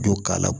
Don k'a la